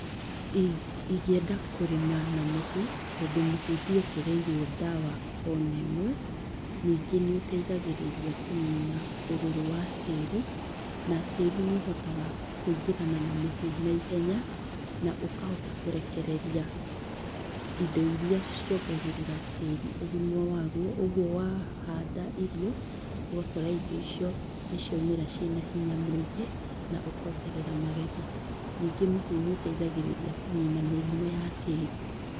Ingĩenda kũrĩma na mũhu tondũ mũhu nduongereirwo ndawa ona ĩmwe ningĩ nĩũteithagĩrĩria kũnina ũrũrũ wa tĩri na tĩri nĩũhotaga kũingĩrana na mũhu naihenya na ũkahota kũrekeeria indo iria ciongagĩrĩra tĩri ũgima waguo ũguo wahanda irio ũgakora irio icio nĩciaumĩra cire na hinya mũingĩ na ũkongerera magetha. Ningĩ mũhu nĩũteithagĩrĩria kũnina mĩrimũ ya tĩri.